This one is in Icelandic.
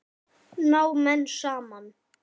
Ná menn saman?